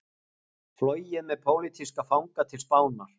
Flogið með pólitíska fanga til Spánar